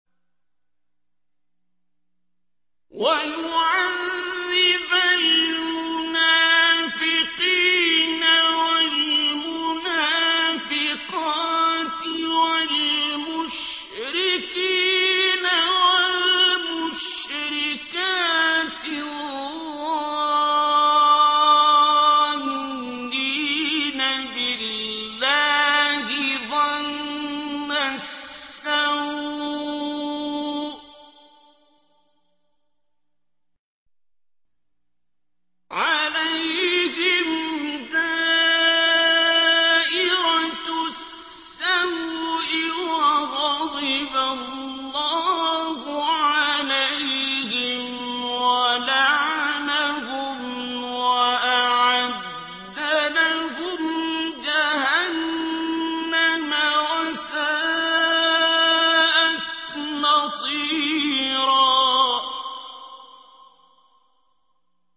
وَيُعَذِّبَ الْمُنَافِقِينَ وَالْمُنَافِقَاتِ وَالْمُشْرِكِينَ وَالْمُشْرِكَاتِ الظَّانِّينَ بِاللَّهِ ظَنَّ السَّوْءِ ۚ عَلَيْهِمْ دَائِرَةُ السَّوْءِ ۖ وَغَضِبَ اللَّهُ عَلَيْهِمْ وَلَعَنَهُمْ وَأَعَدَّ لَهُمْ جَهَنَّمَ ۖ وَسَاءَتْ مَصِيرًا